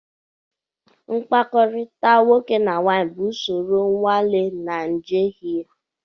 Mkpakọrịta nwoke na nwanyị bụ usoro nnwale na njehie.